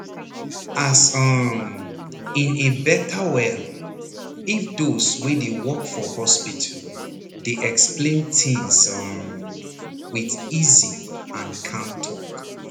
as um in e better well if those wey dey work for hospital dey explain tins um with easy and calm talk